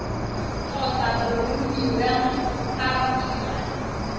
kgotsa boromiwang fa o dira